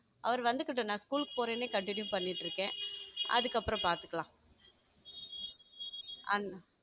அவர் வந்துகிட்டு நான் school க்கு போறேன்னே continue பண்ணிட்டு இருக்கேன் அதுக்கப்புறம் பார்த்துக்கலாம் and